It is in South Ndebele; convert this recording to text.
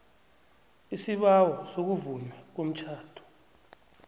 isibawo sokuvunywa komtjhado